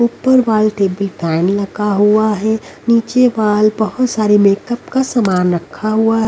ऊपर वॉल टे भी टाइम लगा हुआ है नीचे वॉल बहुत सारे मेकअप का सामान रखा हुआ--